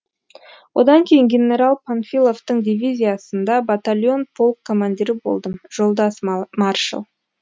одан кейін генерал панфиловтың дивизиясында батальон полк командирі болдым жолдас маршал